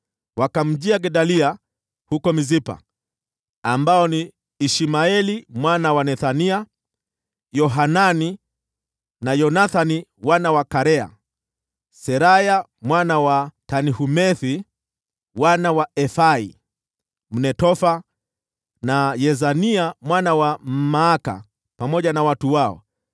wakamjia Gedalia huko Mispa. Hawa walikuwa Ishmaeli mwana wa Nethania, Yohanani na Yonathani wana wa Karea, Seraya mwana wa Tanhumethi, wana wa Efai Mnetofathi, na Yezania mwana wa Mmaaka, pamoja na watu wao.